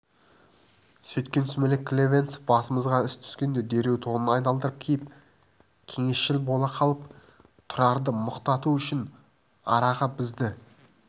сөйткен сүмелек клевенцов басымызға іс түскенде дереу тонын айналдырып киіп кеңесшіл бола қалып тұрарды мұқату үшін араға бізді